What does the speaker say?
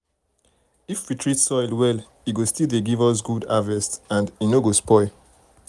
if we treat soil well e go still dey give us good harvest um and e no go spoil.